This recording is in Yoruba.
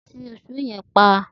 Ti ìsó yen pa